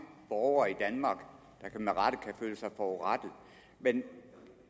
borgere i danmark der med rette kan føle sig forurettet men